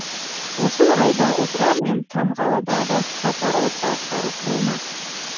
осы орайда отырар мен тамғалыда да сапар орталықтары құрылмақ